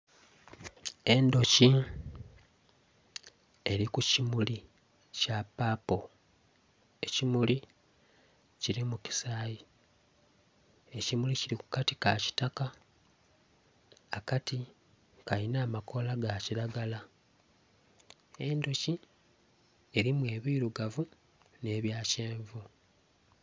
Endhuki eli ku kimuli kya papo ekimuli kilimu kisayi ekimuli kili ku kati ka kitaka akati kalina amakoola ga kilagala. Endhuki elimu ebilugavu nh'ebya kyenvu